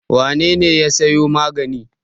Wane ne ya sayo magani?